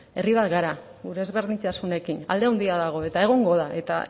herri bat gara gure ezberdintasunekin alde handia dago eta egongo da eta